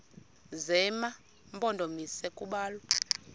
zema mpondomise kubalwa